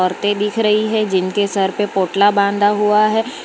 औरतें दिख रही हैं जिनके सर पे पोटला बांधा हुआ है।